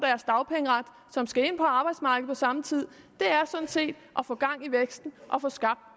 som skal ind på arbejdsmarkedet på samme tid er sådan set at få gang i væksten og få skabt